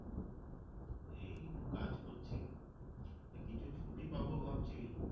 এই একটু কাজ করছি তো কিছু ছুটি পাবো ভাবছি